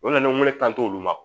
O nana wele kanto olu ma